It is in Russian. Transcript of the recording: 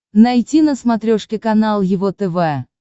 найти на смотрешке канал его тв